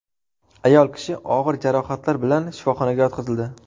Ayol kishi og‘ir jarohatlar bilan shifoxonaga yotqizildi.